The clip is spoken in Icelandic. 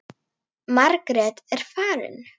Margrét er farin.